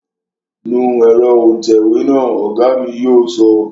Nu ẹ̀rọ òǹtẹ̀wé náà, Ọ̀gá mi yóò sọ